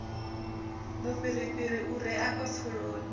mufhirifhiri u re afha pfuloni